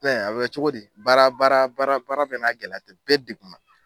Fɛn a bɛ kɛ cogo di, baara baara baara baara bɛna gɛlɛya tɛ, bɛɛ degunna.